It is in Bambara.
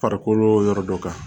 Farikolo yɔrɔ dɔ kan